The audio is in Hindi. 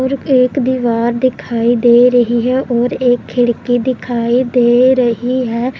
और एक दीवार दिखाई दे रही है और एक खिड़की दिखाई दे रही है।